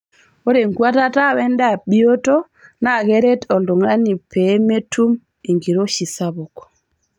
Ore enkuatata wendaa bioto naa keret oltungani pee metum enkiroshi sapuk.